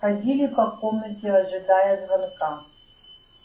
ходили по комнате ожидая звонка